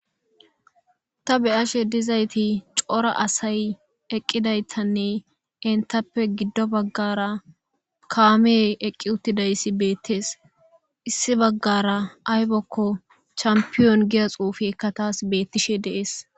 Ta beyashe dizayti cora asay eqqidaytanne entappe giddo baggara kaamey eqqi uttidayssi beettees issi baggara aybakko champiyon giya xuufiekka taas beettishe deees.